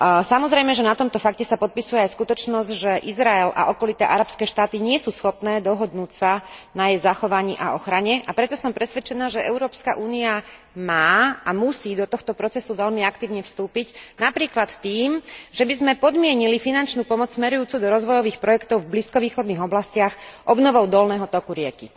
Samozrejme, že na tomto fakte sa podpisuje aj skutočnosť, že Izrael a okolité arabské štáty nie sú schopné dohodnúť sa na jej zachovaní a ochrane, a preto som presvedčená, že Európska únia má a musí do tohto procesu veľmi aktívne vstúpiť, napríklad tým, že by sme podmienili finančnú pomoc smerujúcu do rozvojových projektov v blízkovýchodných oblastiach obnovou dolného toku rieky.